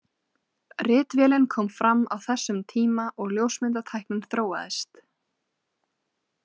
Ritvélin kom fram á þessum tíma og ljósmyndatæknin þróaðist.